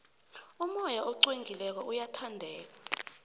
umoya oqwengileko uyathandeka